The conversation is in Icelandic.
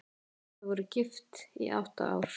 Þau voru gift í átta ár.